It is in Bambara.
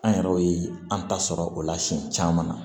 An yɛrɛw ye an ta sɔrɔ o la siɲɛ caman na